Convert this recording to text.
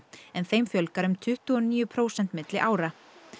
en þeim fjölgar um tuttugu og níu prósent milli ára